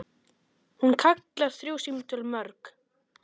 Hún kallar þrjú símtöl mörg.